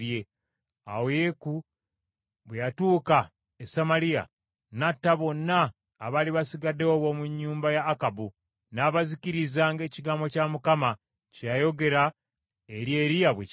Awo Yeeku bwe yatuuka e Samaliya, n’atta bonna abaali basigaddewo ab’omu nnyumba ya Akabu, n’abazikiriza ng’ekigambo kya Mukama kye yayogera eri Eriya bwe kyali.